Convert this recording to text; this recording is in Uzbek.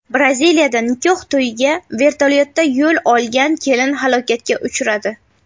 Braziliyada nikoh to‘yiga vertolyotda yo‘l olgan kelin halokatga uchradi .